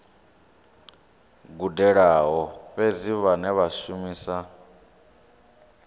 gudelaho fhedzi vhane vha shumisa